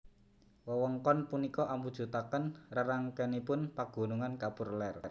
Wewengkon punika amujutaken rerangkenipun pagunungan kapur ler